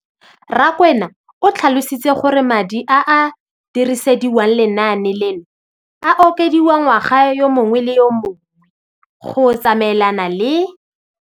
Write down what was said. Rakwena o tlhalositse gore madi a a dirisediwang lenaane leno a okediwa ngwaga yo mongwe le yo mongwe go tsamaelana le.